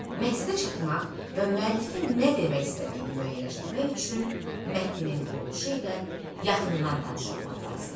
Məqsədə çatmaq və müəllifin nə demək istədiyini müəyyənləşdirmək üçün mətnin quruluşu ilə yaxından tanış olmaq lazımdır.